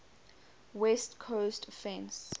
west coast offense